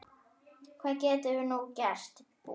Hvað getum við nú gert?